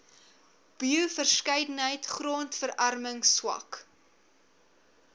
bioverskeidenheid grondverarming swak